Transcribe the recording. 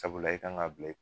Sabula i kan ŋ'a bila i k